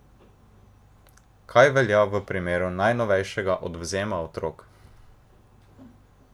Kaj velja v primeru najnovejšega odvzema otrok?